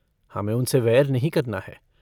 हमें उनसे वैर नहीं करना है।